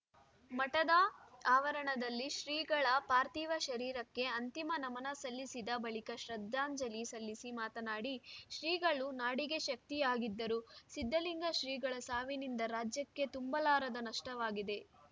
ಮಠದ ಆವರಣದಲ್ಲಿ ಶ್ರೀಗಳ ಪಾರ್ಥಿವ ಶರೀರಕ್ಕೆ ಅಂತಿಮ ನಮನ ಸಲ್ಲಿಸಿದ ಬಳಿಕ ಶ್ರದ್ಧಾಂಜಲಿ ಸಲ್ಲಿಸಿ ಮಾತನಾಡಿ ಶ್ರೀಗಳು ನಾಡಿಗೆ ಶಕ್ತಿಯಾಗಿದ್ದರು ಸಿದ್ಧಲಿಂಗ ಶ್ರೀಗಳ ಸಾವಿನಿಂದ ರಾಜ್ಯಕ್ಕೆ ತುಂಬಲಾರದ ನಷ್ಟವಾಗಿದೆ